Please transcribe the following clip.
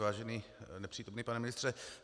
Vážený nepřítomný pane ministře.